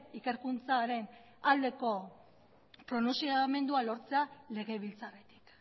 ikerkuntzaren aldeko pronuntziamendua lortzea legebiltzarretik